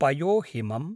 पयोहिमम्